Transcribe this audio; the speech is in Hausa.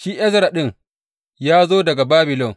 Shi Ezra ɗin ya zo daga Babilon.